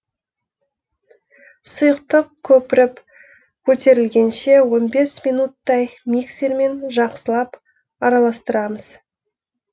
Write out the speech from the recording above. сұйықтық көпіріп көтерілгенше он бес минуттай миксермен жақсылап араластырамыз